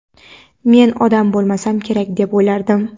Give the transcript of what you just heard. Men odam bo‘lmasam kerak deb o‘ylardim.